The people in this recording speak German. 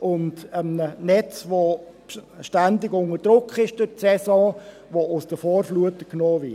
und einem Netz, welches während der Saison ständig unter Druck ist, welches aus den Vorflutern genommen wird.